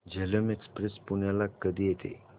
Jhelum express पुण्याला कधी येते